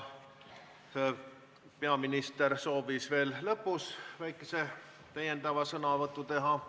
Peaminister soovis lõpus veel väikese sõnavõtu teha.